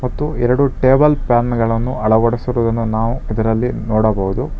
ಮತ್ತು ಎರಡು table fan ಗಳನ್ನು ಅಳವಡಿಸಿರುವುದನ್ನು ನಾವು ಇಲ್ಲಿ ನೋಡಬಹುದು.